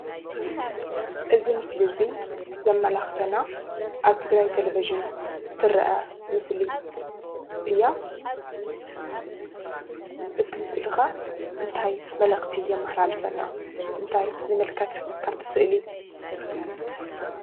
እቲ። ምስል እዚ ዘመላክተና አብ ትግራይ ተሌቨዠን ትረአ ምስሊ እያ ።እቲ ምስሊ ከ እንታይ መልእክቲ የማሓላልፍና እንታይ ንምልከት ካብቲ ስእሊ?